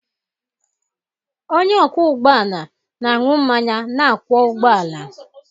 Onye ọkwọ ụgbọ ala na-aṅụ mmanya na-akwọ ụgbọala